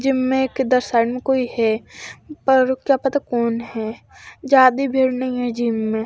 gym में एक इधर साइड में कोई है पर क्या पता कोन है ज्यादा भीड़ नही है जिम में--